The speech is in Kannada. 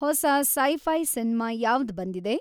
ಹೊಸಾ ಸೈ ಫೈ ಸಿನ್ಮಾ ಯಾವ್ದ್‌ ಬಂದಿದೆ